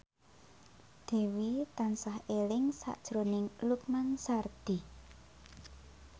Dewi tansah eling sakjroning Lukman Sardi